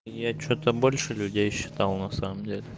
и я что-то больше людей считал на самом деле